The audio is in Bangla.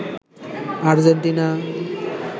আজেন্টিনা